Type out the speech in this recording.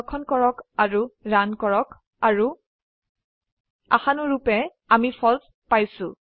সংৰক্ষণ কৰক ৰান কৰক আৰু আশানুৰুপে আমি ফালছে পাইছো